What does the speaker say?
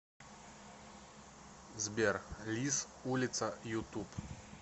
сбер лиз улица ютуб